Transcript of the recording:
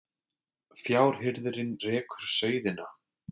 Fjárhirðirinn rekur sauðina